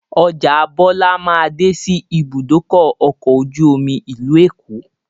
Ọjà Bọlá máa dé sí ibùdókọ̀ ọkọ̀ ojú omi ìlú Èkó